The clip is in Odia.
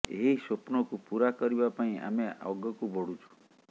ଏହି ସ୍ୱପ୍ନକୁ ପୂରା କରିବା ପାଇଁ ଆମେ ଅଗକୁ ବଢ଼ୁଛୁ